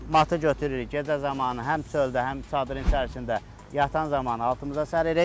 Matı götürürük gecə zamanı həm çöldə, həm çadırın içərisində yatan zaman altımıza səririk.